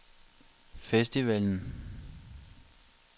festivalen